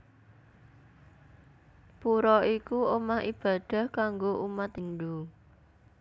Pura iku omah ibadah kanggo umat Hindu